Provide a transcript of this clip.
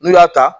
N'u y'a ta